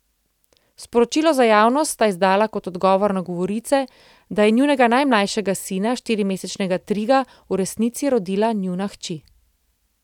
Sporočilo za javnost sta izdala kot odgovor na govorice, da je njunega najmlajšega sina, štirimesečnega Triga, v resnici rodila njuna hči.